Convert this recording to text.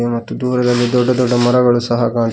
ಮತ್ತು ದೂರದಲ್ಲಿ ದೊಡ್ಡ ದೊಡ್ಡ ಮರಗಳು ಸಹಾ ಕಾಣ್ತ----